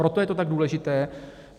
Proto je to tak důležité.